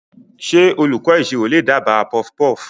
Ṣé olùkọ́ ìṣirò lè dábàá puffpuff?